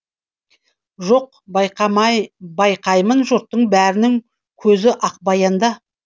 жоқ байқаймын жұрттың бәрінің көзі ақбаянда